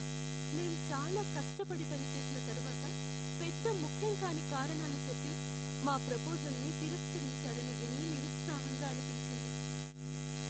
మేం చాలా కష్టపడి పనిచేసిన తర్వాత పెద్ద ముఖ్యం కాని కారణాలు చెప్పి మా ప్రపోజల్ని తిరస్కరించారని విని నిరుత్సాహంగా అనిపించింది.